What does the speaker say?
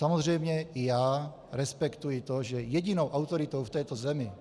Samozřejmě i já respektuji to, že jedinou autoritou v této zemi,